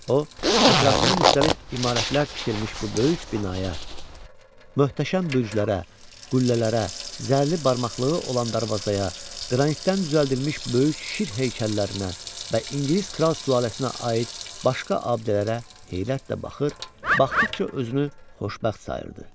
O, ətrafında müxtəlif imarətlər tikilmiş bu böyük binaya, möhtəşəm bürclərə, qüllələrə, zərli barmaqlığı olan darvazaya, qranitdən düzəldilmiş böyük şir heykəllərinə və İngilis kral sülaləsinə aid başqa abidələrə heyrətlə baxır, baxdıqca özünü xoşbəxt sayırdı.